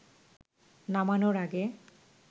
নামানোর আগে